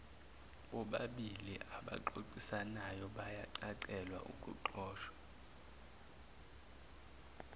bobabiliabaxoxisanayo bayacacelwa okuxoxwa